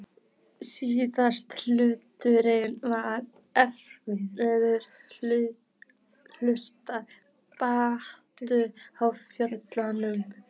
Síðasti hlutinn var erfiðastur, brattur og fjöllóttur.